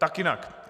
Tak jinak.